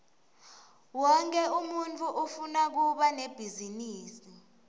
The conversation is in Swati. wonkhe umuntfu ufuna kuba nebhizinisi